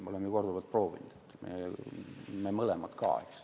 Ma olen ju korduvalt proovinud, me mõlemad, eks.